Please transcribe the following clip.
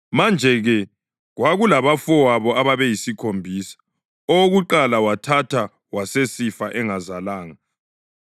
Manje-ke, kwakulabafowabo abayisikhombisa. Owokuqala wathatha wasesifa engazalanga.